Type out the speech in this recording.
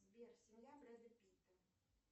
сбер семья брэда питта